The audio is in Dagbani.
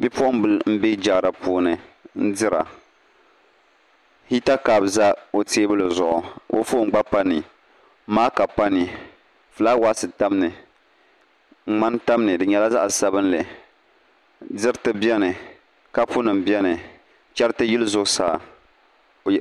Bipuɣunbili n bɛ jaara puuni n dira hita kaap bɛ o teebuli zuɣu ka o foon gba pa ni maaka pa ni fulaawaasi tam ni ŋmani tam ni di nyɛla zaɣ sabinli diriti biɛni kapu nim biɛni chɛriti yili zuɣusaa